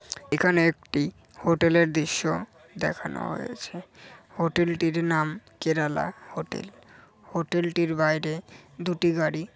এখানে একটি হোটেলের দৃশ্য দেখানো হয়েছে হোটেলটির নাম কেরালা হোটেল হোটেলটির বাইরে দুটি গাড়ি--